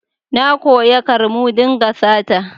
Na koya kar mu dinga sata